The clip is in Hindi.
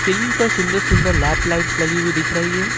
सीलिंग पर सुंदर सुंदर लैंप लाइट्स लगी हुई दिख रही है।